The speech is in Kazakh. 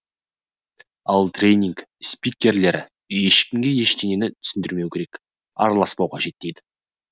ал тренинг спикерлері ешкімге ештеңені түсіндірмеу керек араласпау қажет дейді